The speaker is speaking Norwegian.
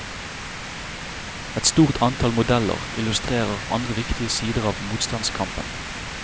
Et stort antall modeller illustrerer andre viktige sider av motstandskampen.